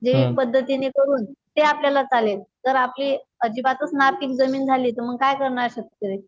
जैविक पद्धतीने करून ते आपल्याला चालेल. जर आपली अजिबातच नापीक जमीन झाली तर काय करणार शेतकरी?